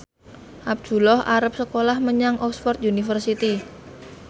Abdullah arep sekolah menyang Oxford university